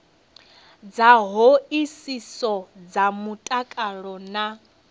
dza hoisiso dza mutakalo na